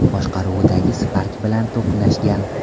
boshqaruvidagi Spark bilan to‘qnashgan.